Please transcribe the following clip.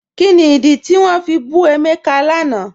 Kíni ìdí tí wọn fi bù Emeka lánà?